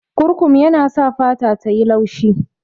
Kurkum yana sa fata tayi laushi